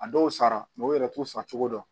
A dɔw sara yɛrɛ t'u fa cogo dɔn